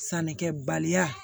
Sannikɛbaliya